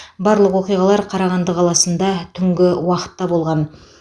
барлық оқиғалар қарағанды қаласында түнгі уақытта болған